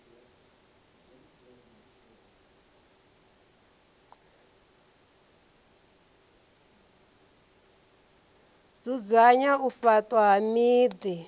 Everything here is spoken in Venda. dzudzanya u faṱwa ha miḓi